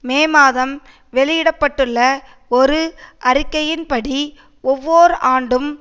மே மாதம் வெளியிட பட்டுள்ள ஒரு அறிக்கையின்படி ஒவ்வொர் ஆண்டும்